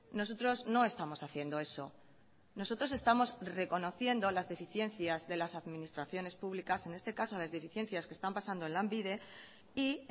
nosotros no estamos haciendo eso nosotros estamos reconociendo las deficiencias de las administraciones públicas en este caso las deficiencias que están pasando en lanbide y